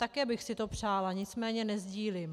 Také bych si to přála, nicméně nesdílím.